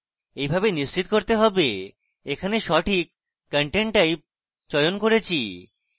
এইভাবে নিশ্চিত করতে have এখানে সঠিক content type চয়ন করেছি